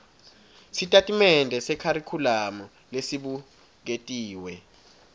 sitatimende sekharikhulamu lesibuketiwe